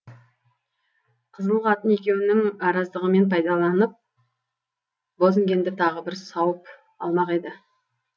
қызыл қатын екеуінің араздығымен пайдаланып бозінгенді тағы бір сауып алмақ еді